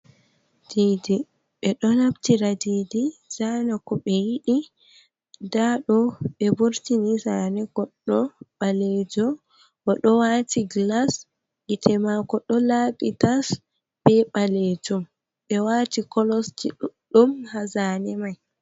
Didi, ɓeɗo nabtira didi zana ko ɓe yidi nda ɗo ɓe vurtini zane godɗo balejo, oɗo wati glas gite mako do laɓitas be balejum be wati kolosji ɗudɗum hazane mai.